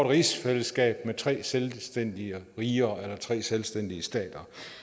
rigsfællesskab med tre selvstændige riger eller tre selvstændige stater